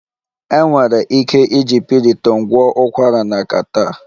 Enwere ike iji Piriton gwọọ ụkwara na catarrh